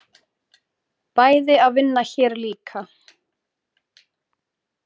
Bæði að vinna hér líka.